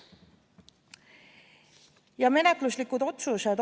Ja menetluslikud otsused.